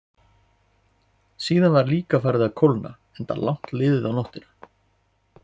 Síðan var líka farið að kólna, enda langt liðið á nóttina.